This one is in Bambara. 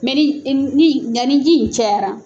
Mɛ ni ni nka ni ji cɛyara.